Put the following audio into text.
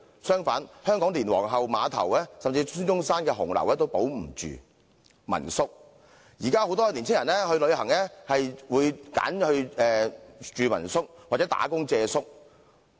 相反，香港連皇后碼頭，甚至紀念孫中山的紅樓也保不住。民宿方面，現時很多年輕人旅行時會選擇住民宿，或工作借宿。